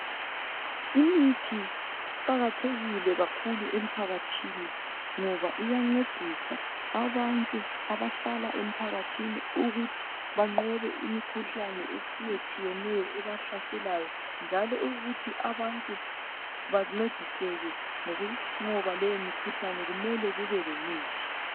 Imithi iqakathekile kakhulu emphakathini ngoba iyancedisa abantu abahlala emphakathini ukuthi banqobe imikhuhlane etshiyatshiyeneyo ebahlaselayo. Njalo ukuthi abantu bancediseke ngokuqoba leyo mikhuhlane kumele kube lemithi.